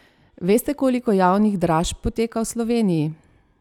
Veste koliko javnih dražb poteka v Sloveniji?